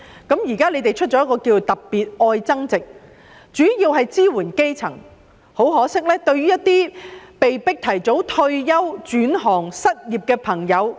政府現時推出"特別.愛增值"計劃，主要支援基層，可惜卻沒有對於被迫提早退休、轉行、失業的人士提供支援。